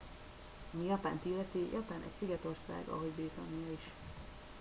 ami japánt illeti japán egy szigetország ahogy britannia is